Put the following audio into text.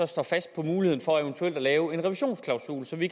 står fast på muligheden for eventuelt at lave en revisionsklausul så vi